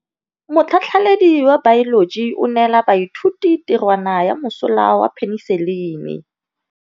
Motlhatlhaledi wa baeloji o neela baithuti tirwana ya mosola wa peniselene.